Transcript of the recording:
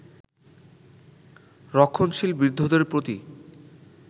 রক্ষণশীল বৃদ্ধদের প্রতি